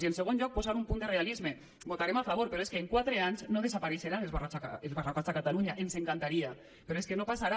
i en segon lloc posar un punt de realisme hi votarem a favor però és que en quatre anys no desapareixeran els barracots a catalunya ens encantaria però és que no passarà